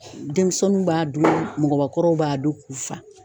Denmisɛnninw b'a dun mɔgɔbakɔrɔw b'a dun k'u fa.